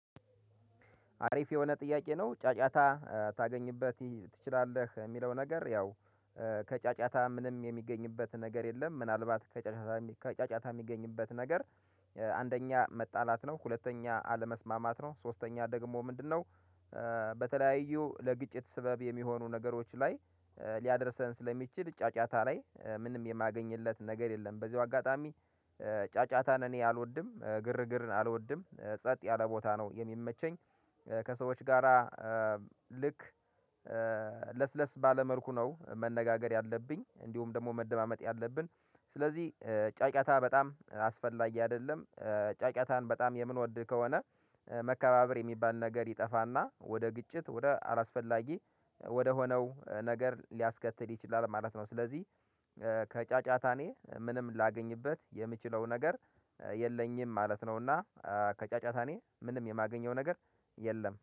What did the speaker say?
አሪፍ የሆነ ጥያቄ ነው? ጫጫታ ታገኝበት ትችላለህ የሚለው ነገር ያው ከጫጫታ ምንም የሚገኝበት ነገር የለም። ምናልባት ከጫጫታ ከጫጫታ የሚገኝበት ነገር። አንደኛ መጣላት ነው ሁለተኛ አለመስማማት ነው ሶስተኛ ደግሞ ምንድነው? በተለያዩ ለግጭት ስበብ የሚሆኑ ነገሮች ላይ ሊያደርሰን ስለሚችል ጫጫታ ላይ ምንም የማገኝለት ነገር የለም። በዚሁ አጋጣሚ ጫጫታን እኔ አልወድም ግርግርን አልወድም ጸጥ ያለ ቦታ ነው የሚመቸኝ። ከሰዎች ጋራ ልክ ለስለስ ባለ መልኩ ነው መነጋገር ያለብኝ እንዲሁም ደግሞ መደማመጥ ያለብን። ስለዚህ ጫጫታ በጣም አስፈላጊ አይደለም። ጫጫን በጣም የምንወድ ከሆነ መከባበር የሚባል ነገር ይጠፋና ወደ ግጭት ወደ አላስፈላጊ ወደሆነው ነገር ሊያስከትል ይችላል ማለት ነው። ስለዚህ ከጫጫታ እኔ ምንም ላገኝበት የምችለው ነገር የለኝም ማለት ነውና። ከጫጫታ እኔ ምንም የማገኘው ነገር የለም